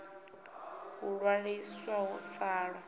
u ṅwaliswa hu sa ḓo